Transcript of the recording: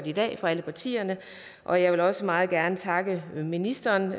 i dag fra alle partierne og jeg vil også meget gerne takke ministeren